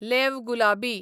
leave गुलाबी